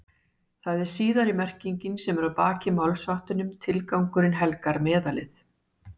Það er síðari merkingin sem er að baki málshættinum tilgangurinn helgar meðalið.